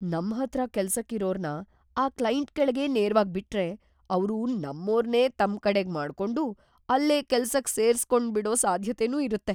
ನಮ್‌ ಹತ್ರ ಕೆಲ್ಸಕ್‌ ಇರೋರ್ನ ಆ ಕ್ಲೈಂಟ್‌ ಕೆಳಗೇ ನೇರ್ವಾಗ್‌ ಬಿಟ್ರೆ ಅವ್ರು ನಮ್ಮೋರ್ನೇ ತಮ್ಕಡೆಗ್‌ ಮಾಡ್ಕೊಂಡು ಅಲ್ಲೇ ಕೆಲ್ಸಕ್‌ ಸೇರ್ಸ್‌ಕೊಂಡ್ಬಿಡೋ ಸಾಧ್ಯತೆನೂ ಇರತ್ತೆ.